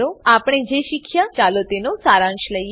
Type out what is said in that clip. આપણે જે શીખ્યા ચાલો તેનો સારાંશ લઈએ